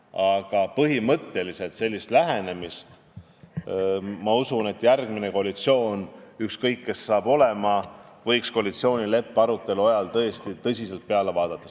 Aga põhimõtteliselt ma toetan sellist lähenemist, et järgmine koalitsioon – ükskõik, kes seal olema hakkavad – võiks koalitsioonileppe arutelu ajal sellele teemale tõsiselt peale vaadata.